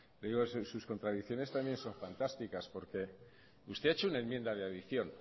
sus contradicciones también son fantásticas porque usted ha hecho una enmienda de adición